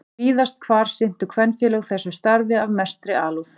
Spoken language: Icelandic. Víðast hvar sinntu kvenfélög þessu starfi af mestri alúð.